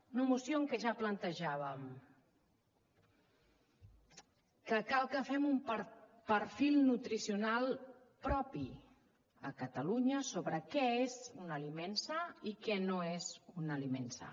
una moció en què ja plantejàvem que cal que fem un perfil nutricional propi a catalunya sobre què és un aliment sa i què no és un aliment sa